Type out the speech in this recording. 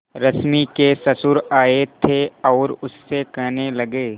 रश्मि के ससुर आए थे और उससे कहने लगे